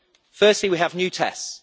Firstly, we have new tests.